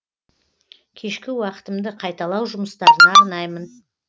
кешкі уақытымды қайталау жұмыстарына арнаймын